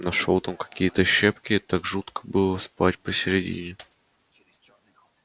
нашёл там какие-то щепки так жутко было спать посередине через чёрный ход